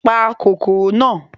Pa kòkòrò náà!